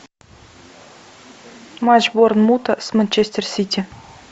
матч борнмута с манчестер сити